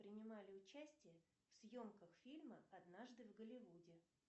принимали участие в съемках фильма однажды в голливуде